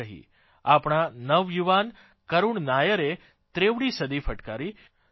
આપણા નવયુવાન કરૂણ નાયરે ત્રેવડી સદી ફટકારી તો કે